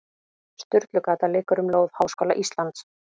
Sturlugata liggur um lóð Háskóla Íslands.